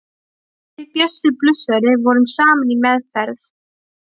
Við Bjössi blúsari vorum saman í meðferð.